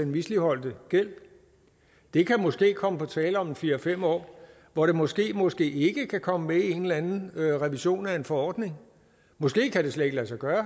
misligholdte gæld det kan måske komme på tale om fire fem år hvor det måske måske ikke kan komme med i en eller anden revision af en forordning måske kan det slet ikke lade sig gøre